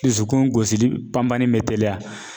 Dusukun gosili pan panni bɛ teliya